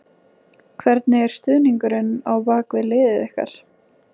Hvernig er stuðningurinn á bak við liðið ykkar?